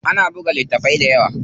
Ana buga littafai dayawa.